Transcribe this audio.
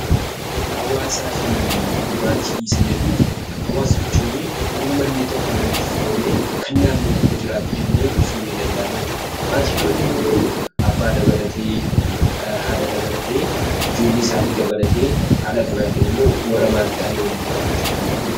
Hawaasaa fi maatii isa jedhuufi, hawaasa jechuun ummanni tokko walitti firoomee kan naannoo tokko jiraatu jennee ibsuun ni danda'ama jechuu dha. Maatii yeroo jennu garuu abbaa dabalatee, haadha dabalatee, ijoollee isaanii dabalatee haala kanaatiin immoo warra maatii ta'anii waliin jiraatan jechuun ni danda'ama.